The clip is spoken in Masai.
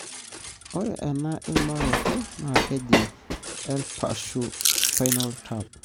ore ena imaroto na keeji Lpashu spinal tap,